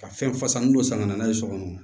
Ka fɛn fasa min don san ka na n'a ye sɔgɔsɔgɔ